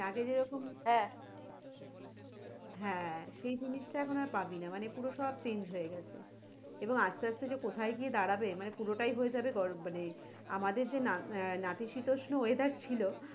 আগে যেরকম হ্যাঁ সেই জিনিস টা এখন আর পাবি না পুরো সব change হয়ে গেছে এবং আসতে আসতে যে কোথায় গিয়ে দাঁড়াবে এবারে পুরোটাই হয়ে যাবে গরম মানে, আমাদের যে নাতিশীতোষ্ণ weather ছিলো,